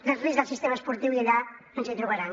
del risc del sistema esportiu i allà ens hi trobaran